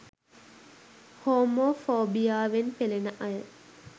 Homo ෆෝබියාවෙන් පෙලෙන අය